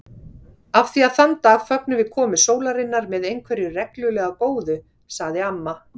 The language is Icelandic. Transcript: Af því að þann dag fögnum við komu sólarinnar með einhverju reglulega góðu sagði amma.